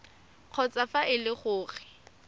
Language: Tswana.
kgotsa fa e le gore